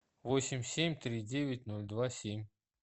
восемь семь три девять ноль два семь